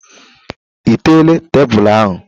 Ị teela tebụl ahụ?